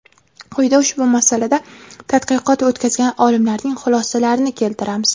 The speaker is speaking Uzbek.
Quyida ushbu masalada tadqiqot o‘tkazgan olimlarning xulosalarini keltiramiz.